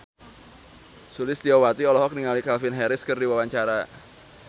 Sulistyowati olohok ningali Calvin Harris keur diwawancara